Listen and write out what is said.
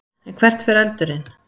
En hvert fer eldurinn?